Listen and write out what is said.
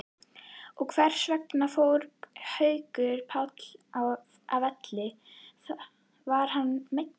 En hversvegna fór Haukur Páll af velli, var hann meiddur?